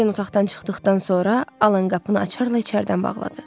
Doren otaqdan çıxdıqdan sonra Alan qapını açarla içəridən bağladı.